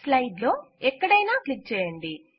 slide లో ఎక్కడైనా click చేయండి